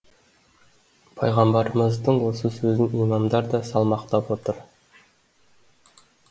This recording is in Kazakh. пайғамбарымыздың осы сөзін имамдар да салмақтап отыр